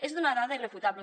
és una dada irrefutable